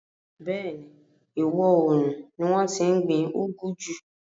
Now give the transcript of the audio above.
Bẹ́ẹ̀ni, ìwọòrùn ni wọ́n tí n gbin úgú jù